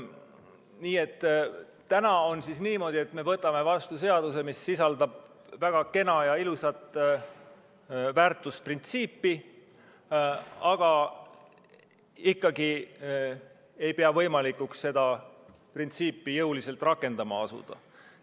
Nüüd on niimoodi, et täna me võtame vastu seaduse, mis sisaldab väga kena ja ilusat väärtusprintsiipi, aga ei pea ikkagi võimalikuks seda printsiipi jõuliselt rakendama asuda.